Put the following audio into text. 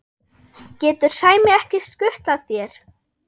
getur Sæmi ekki skutlað þér?